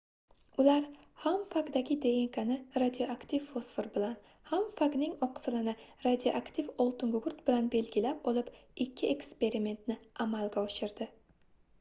ular ham fagdagi dnkni radioaktiv fosfor bilan ham fagning oqsilini radioaktiv oltingugurt bilan belgilab olib ikki eksperimentni amalga oshirdi